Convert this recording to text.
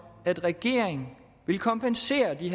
at regeringen vil kompensere de